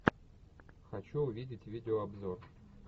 хочу увидеть видеообзор